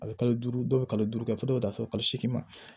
A bɛ kalo duuru dɔw bɛ kalo duuru kɛ fo ka taa fɔ kalo seegin ma